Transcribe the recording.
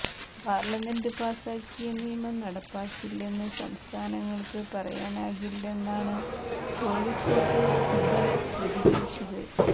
parliament പാസാക്കിയ നിയമം നടപ്പാക്കില്ലെന്ന് സംസ്ഥാനങ്ങൾക്ക് പറയാനാകില്ലെന്നാണ് കോഴിക്കോട്ട് സിബൽ പ്രതികരിച്ചത്